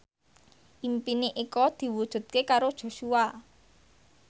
impine Eko diwujudke karo Joshua